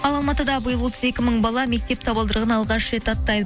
ал алматыда биыл отыз екі мың бала мектеп табалдырығын алғаш рет аттайды